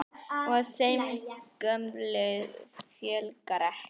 Og þeim gömlu fjölgar ekki.